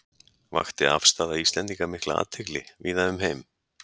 Vakti afstaða Íslendinga mikla athygli víða um heim.